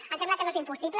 em sembla que no és impossible